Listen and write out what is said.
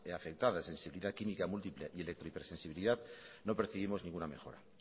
afectadas en sensibilidad química múltiple y electro hipersensibilidad no percibimos ninguna mejora